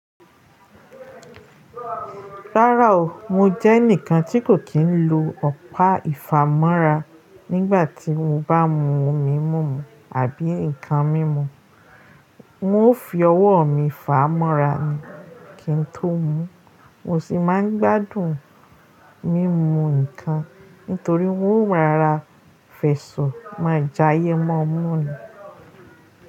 Rárá o, mo jẹ́ ẹnìkan tí kò kí ń lo ọ̀pá ìfàmọ́ra nígbàtí mo bá mu omi mímu àbí ǹkan mímu. N ó fi ọwọ́ mi fàá mọ́ra ni kí n tó mú, mo sì máa ń gbádùn mímu ǹkan nítorí wọ́n mo rora fẹ̀so máa já yé mọ́mú ni.